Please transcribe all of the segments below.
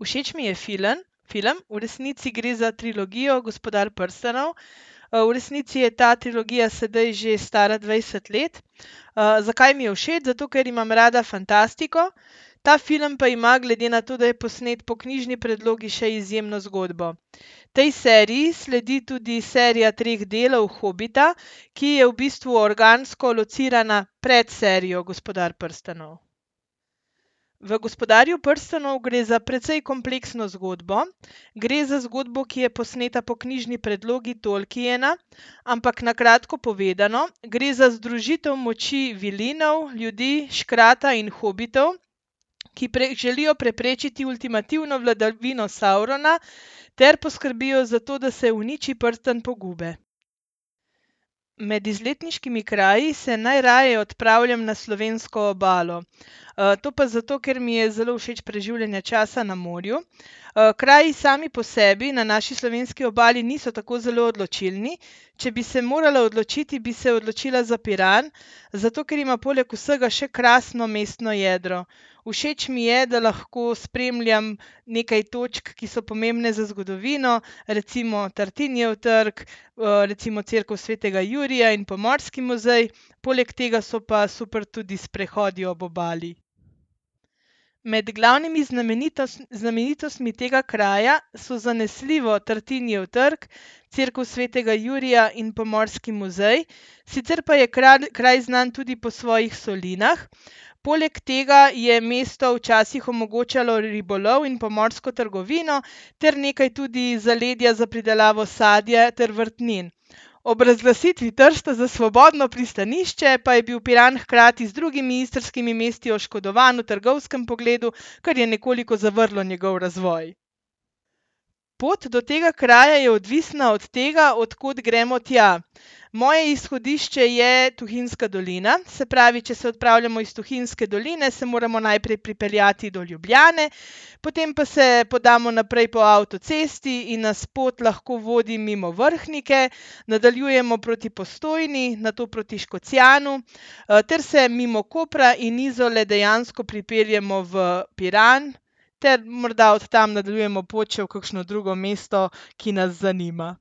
Všeč mi je film, film, v resnici gre za trilogijo Gospodar prstanov. v resnici je ta trilogija sedaj že stara dvajset let. zakaj mi je všeč? Zato, ker imam rada fantastiko. Ta film pa ima, glede na to, da je posnet po knjižni predlogi, še izjemno zgodbo. Tej seriji sledi tudi serija treh delal Hobita, ki je v bistvu organsko locirana pred serijo Gospodar prstanov. V Gospodarju prstanov gre za precej kompleksno zgodbo. Gre za zgodbo, ki je posneta po knjižni predlogi Tolkiena, ampak na kratko povedano gre za združitev moči vilinov, ljudi, škrata in hobitov, ki želijo preprečiti ultimativno vladavino Saurona ter poskrbijo za to, da se uniči prstan pogube. Med izletniškimi kraji se najraje odpravljam na slovensko obalo. to pa zato, ker mi je zelo všeč preživljanje časa na morju. kraji sami po sebi na naši slovenski obali niso tako zelo odločilni, če bi se morala odločiti, bi se odločila za Piran, zato ker ima poleg vsega še krasno mestno jedro. Všeč mi je, da lahko spremljam nekaj točk, ki so pomembne za zgodovino, recimo Tartinijev trg, recimo cerkev svetega Jurija in Pomorski muzej. Poleg tega so pa super tudi sprehodi ob obali. Med glavnimi znamenitostmi tega kraja so zanesljivo Tartinijev trg, cerkev svetega Jurija in Pomorski muzej, sicer pa je kraj znan tudi po svojih solinah. Poleg tega je mesto včasih omogočalo ribolov in pomorsko trgovino ter nekaj tudi zaledja za pridelavo sadja ter vrtnin. Ob razglasitvi Trsta za svobodno pristanišče pa je bil Piran hkrati z drugimi istrskimi mesti oškodovan v trgovskem pogledu, kar je nekoliko zavrlo njegov razvoj. Pot do tega kraja je odvisna od tega, od kod gremo tja. Moje izhodišče je Tuhinjska dolina. Se pravi, če se odpravljamo iz Tuhinjske doline, se moramo najprej pripeljati do Ljubljane, potem pa se podamo naprej po avtocesti in nas pot lahko vodi mimo Vrhnike, nadaljujemo proti Postojni, nato proti Škocjanu, ter se mimo Kopra in Izole dejansko pripeljemo v Piran ter morda od tam nadaljujemo pot še v kakšno drugo mesto, ki nas zanima.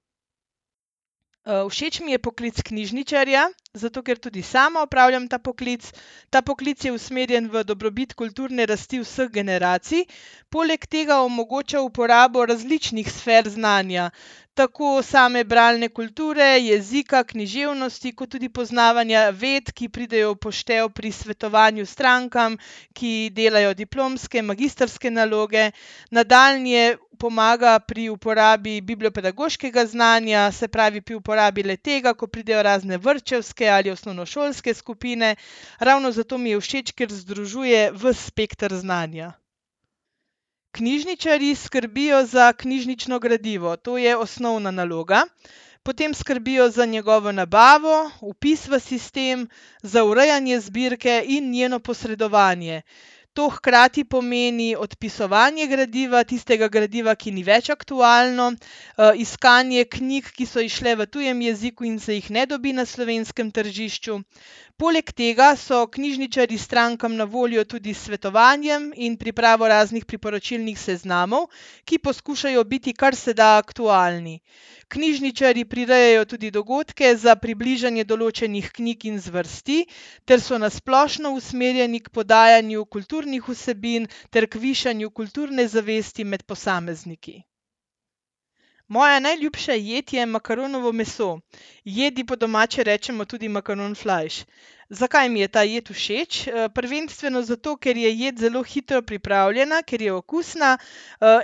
všeč mi je poklic knjižničarja, zato ker tudi sama opravljam ta poklic. Ta poklic je usmerjen v dobrobit kulturne rasti vseh generacij, poleg tega omogoča uporabo različnih sfer znanja. Tako same bralne kulture, jezika, književnosti kot tudi poznavanja ved, ki pridejo v poštev pri svetovanju strankam, ki delajo diplomske, magistrske naloge. Nadaljnje pomaga pri uporabi bibliopedagoškega znanja, se pravi, pri uporabi le-tega, ko pridejo razne vrtčevske ali osnovnošolske skupine. Ravno zato mi je všeč, ker združuje vas spekter znanja. Knjižničarji skrbijo za knjižnično gradivo, to je osnovna naloga. Potem skrbijo za njegovo nabavo, vpis v sistem, za urejanje zbirke in njeno posredovanje. To hkrati pomeni odpisovanje gradiva, tistega gradiva, ki ni več aktualno, iskanje knjig, ki so izšle v tujem jeziku in se jih ne dobi na slovenskem tržišču. Poleg tega so knjižničarji strankam na voljo tudi s svetovanjem in pripravo raznih priporočilnih seznamov, ki poskušajo biti kar se da aktualni. Knjižničarji prirejajo tudi dogodke za približanje določenih knjig in zvrsti ter so na splošno usmerjeni k podajanju kulturnih vsebin ter k višanju kulturne zvesti med posamezniki. Moja najljubša jed je makaronovo meso. Jedi po domače rečemo tudi makaronflajš. Zakaj mi je ta jed všeč? prvenstveno zato, ker jed zelo hitro pripravljena, ker je okusna,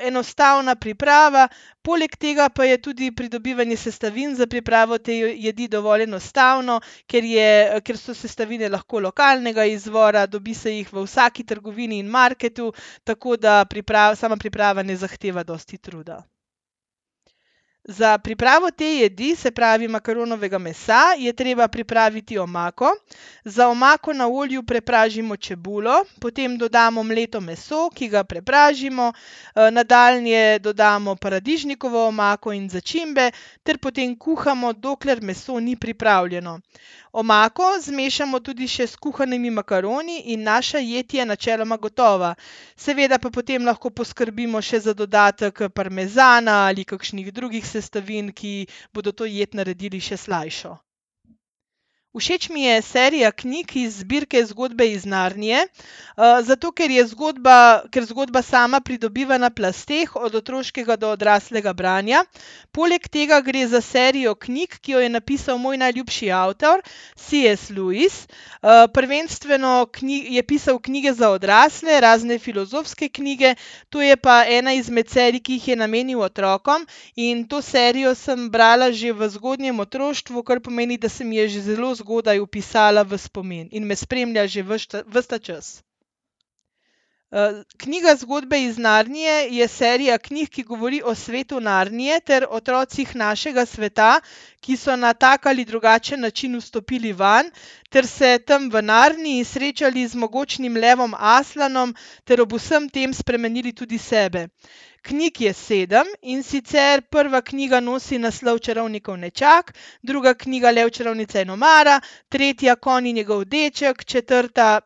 enostavna priprava, poleg tega pa je tudi pridobivanje sestavin za pripravo te jedi dovolj enostavno, ker je, ker so sestavine lahko lokalnega izvora, dobi se jih v vsaki trgovini in marketu, tako da sama priprava ne zahteva dosti truda. Za pripravo te jedi, se pravi makaronovega mesa, je treba pripraviti omako. Za omako na olju prepražimo čebulo, potem dodamo mleto meso, ki ga prepražimo. nadaljnje dodamo paradižnikovo omako in začimbe ter potem kuhamo, dokler meso ni pripravljeno. Omako zmešamo tudi še s kuhanimi makaroni in naša jed je načeloma gotova. Seveda pa potem lahko poskrbimo še za dodatek parmezana ali kakšnih drugih sestavin, ki bodo to jed naredili še slajšo. Všeč mi je serija knjig iz zbirke Zgodbe iz Narnije, zato ker je zgodba, ker zgodba sama pridobiva na plasteh, od otroškega do odraslega branja. Poleg tega gre za serijo knjig, ki jo je napisal moj najljubši avtor C. S. Lewis. prvenstveno je pisal knjige za odrasle, razne filozofske knjige, to je pa ena izmed serij, ki jih je namenil otrokom, in to serijo sem brala že v zgodnjem otroštvu, kar pomeni, da se mi je že zelo zgodaj vpisala v spomin in me spremlja že vas ves ta čas. knjiga Zgodbe iz Narnije je serija knjig, ki govori o svetu Narnije ter o otrocih našega sveta, ki so na tak ali drugačen način vstopili vanj ter se tam v Narniji srečali z mogočnim levom Aslanom ter ob vsem tem spremenili tudi sebe. Knjig je sedem, in sicer prva knjiga nosi naslov Čarovnikov nečak, druga knjiga Lev, čarovnica in omara, tretja Konj in njegov deček, četrta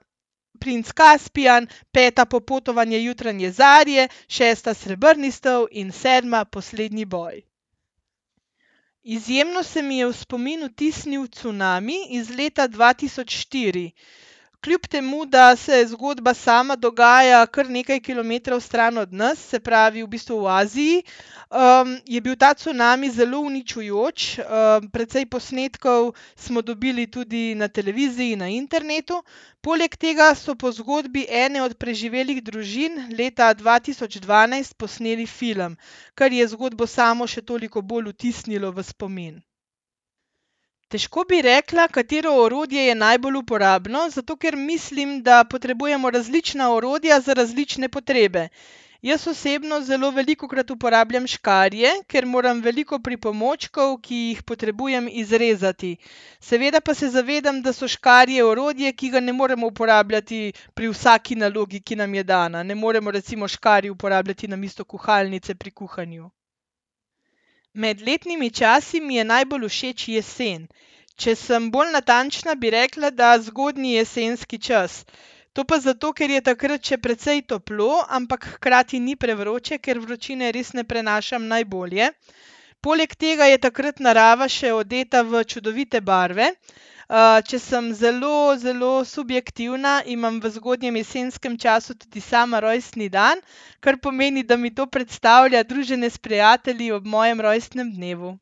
Princ Kaspijan, peta Popotovanje jutranje zarje, šesta Srebrni stol in sedma Poslednji boj. Izjemno se mi je v spomin vtisnil cunami iz leta dva tisoč štiri. Kljub temu da se zgodba sama dogaja kar nekaj kilometrov stran od nas, se pravi, v bistvu v Aziji, je bil ta cunami zelo uničujoč, precej posnetkov smo dobili tudi na televiziji, na internetu. Poleg tega so po zgodbi ene od preživelih družin leta dva tisoč dvanajst posneli film, kar je zgodbo samo še toliko bolj vtisnilo v spomin. Težko bi rekla, katero orodje je najbolj uporabno, zato ker mislim, da potrebujemo različna orodja za različne potrebe. Jaz osebno zelo velikokrat uporabljam škarje, ker moram veliko pripomočkov, ki jih potrebujem, izrezati. Seveda pa se zavedam, da so škarje orodje, ki ga ne moremo uporabljati pri vsaki nalogi, ki nam je dana. Ne moremo recimo škarij uporabljati namesto kuhalnice pri kuhanju. Med letnimi časi mi je najbolj všeč jesen. Če sem bolj natančna, bi rekla, da zgodnji jesenski čas. To pa zato, ker je takrat še precej toplo, ampak hkrati ni prevroče, ker vročine res ne prenašam najbolje. Poleg tega je takrat narava še odeta v čudovite barve. če sem zelo, zelo subjektivna, imam v zgodnjem jesenskem času tudi sama rojstni dan, kar pomeni, da mi to predstavlja druženje s prijatelji ob mojem rojstnem dnevu.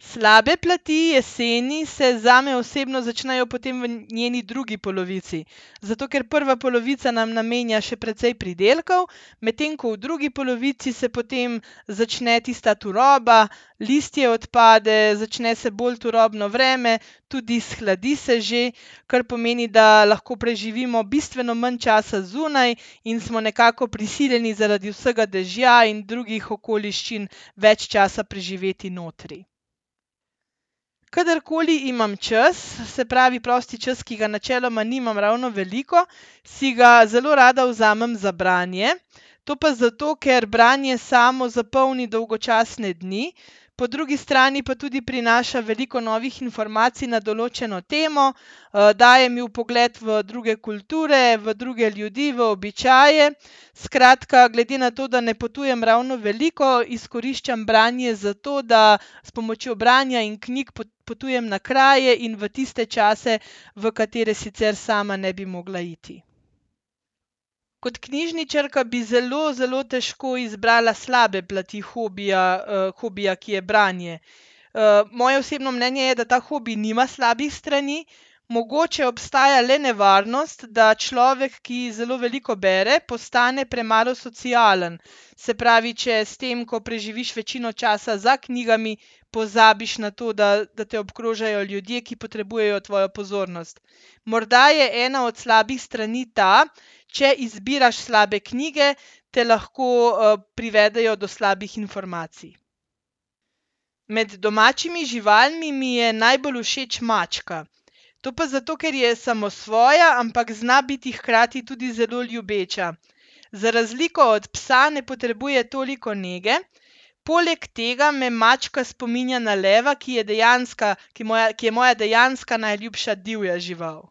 Slabe plati jeseni se zame osebno začnejo potem v njeni drugi polovici. Zato ker prva polovica nam namenja še precej pridelkov, medtem ko v drugi polovici se potem začne tista turoba, listje odpade, začne se bolj turobno vreme, tudi shladi se že, kar pomeni, da lahko preživimo bistveno manj časa zunaj in smo nekako prisiljeni zaradi vsega dežja in drugih okoliščin več časa preživeti notri. Kadarkoli imam čas, se pravi, prosti čas, ki ga načeloma nimam ravno veliko, si ga zelo rada vzamem za branje. To pa zato, ker branje samo zapolni dolgočasne dni, po drugi strani pa tudi prinaša veliko novih informacij na določeno temo, daje mi vpogled v druge kulture, v druge ljudi, v običaje, skratka, glede na to, da ne potujem ravno veliko, izkoriščam branje za to, da s pomočjo branja in knjig potujem na kraje in v tiste čase, v katere sicer sama ne bi mogla iti. Kot knjižničarka bi zelo, zelo težko izbrala slabe plati hobija, hobija, ki je branje. moje osebno mnenje je, da ta hobi nima slabih strani. Mogoče obstaja le nevarnost, da človek, ki zelo veliko bere, postane premalo socialen. Se pravi, če s tem, ko preživiš večino časa za knjigami, pozabiš na to, da, da te obkrožajo ljudje, ki potrebujejo tvojo pozornost. Morda je ena od slabi strani ta, če izbiraš slabe knjige, te lahko, privedejo do slabih informacij. Med domačimi živalmi mi je najbolj všeč mačka. To pa zato, ker je samosvoja, ampak zna biti hkrati tudi zelo ljubeča. Za razliko od psa ne potrebuje toliko nege, poleg tega me mačka spominja na leva, ki je dejanska, ki moja, ki je moja dejanska najljubša divja žival.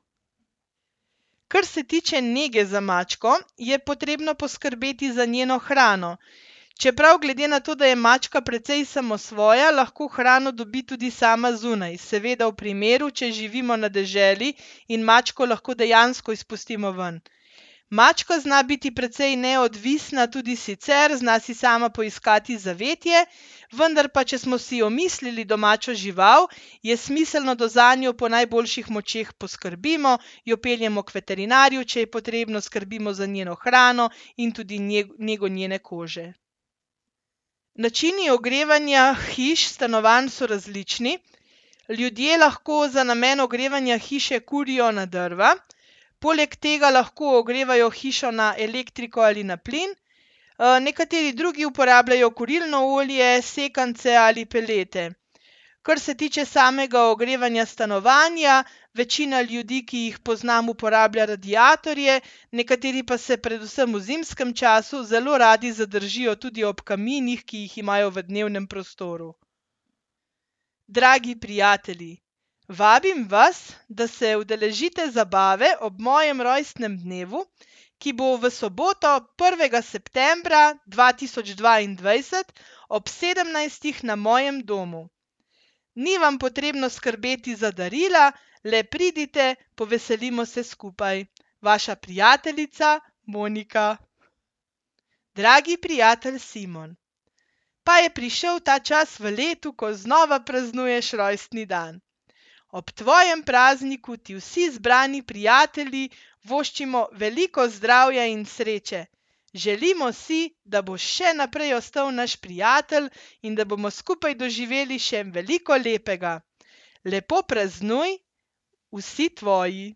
Kar se tiče nege za mačko, je potrebno poskrbeti za njeno hrano. Čeprav glede na to, da je mačka precej samosvoja, lahko hrano dobi tudi sama zunaj. Seveda v primeru, če živimo na deželi in mačko lahko dejansko izpustimo ven. Mačka zna biti precej neodvisna tudi sicer, zna si sama poiskati zavetje, vendar pa če smo si omislili domačo žival, je smiselno, da zanjo po najboljših močeh poskrbimo, jo peljemo k veterinarju, če je potrebno, skrbimo za njeno hrano, in tudi nego njene kože. Načini ogrevanja hiš, stanovanj so različni. Ljudje lahko za namen ogrevanja hiše kurijo na drva, poleg tega lahko ogrevajo hišo na elektriko ali na plin. nekateri drugi uporabljajo kurilno olje, sekance ali pelete. Kar se tiče samega ogrevanja stanovanja, večina ljudi, ki jih poznam, uporablja radiatorje, nekateri pa se predvsem v zimskem času zelo radi zadržijo tudi ob kaminih, ki jih imajo v dnevnem prostoru. Dragi prijatelji, vabim vas, da se udeležite zabave ob mojem rojstnem dnevu, ki bo v soboto, prvega septembra dva tisoč dvaindvajset ob sedemnajstih na mojem domu. Ni vam potrebno skrbeti za darila, le pridite, poveselimo se skupaj. Vaša prijateljica Monika. Dragi prijatelj Simon. Pa je prišel ta čas v letu, ko znova praznuješ rojstni dan. Ob tvojem prazniku ti vsi zbrani prijatelji voščimo veliko zdravja in sreče. Želimo si, da boš še naprej ostal naš prijatelj in da bomo skupaj doživeli še veliko lepega. Lepo praznuj, vsi tvoji.